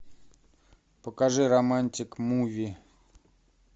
покажи романтик муви